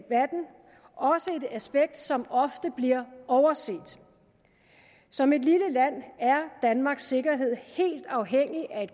aspekt som ofte bliver overset som et lille land er danmarks sikkerhed helt afhængig af